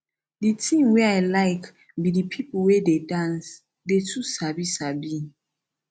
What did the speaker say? the thing wey i like be the people wey dance dey too sabi sabi